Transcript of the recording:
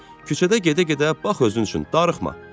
Küçədə gedə-gedə bax özün üçün, darıxma."